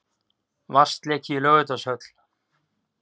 Vatnsleki í Laugardalshöll